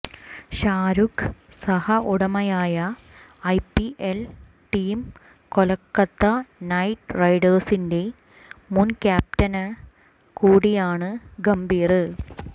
ഷാരൂഖ് സഹ ഉടമയായ IPL team Kolkata Knight റൈഡേഴ്സിന്റെ മുന് ക്യാപ്റ്റന് കൂടിയാണ് ഗംഭീര്